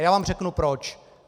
A já vám řeknu proč.